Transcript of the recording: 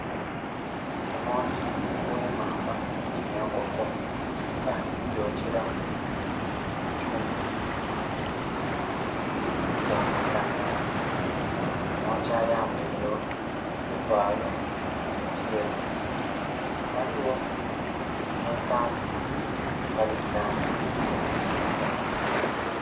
Omwoki ghemamba yenkoko nga ali ku gyokela ku kyuma ekya masanhalaze. Omwoki ayambeire ekivalo ekyeru. Ghaligho nakandhi akali mu langi eya kilagala.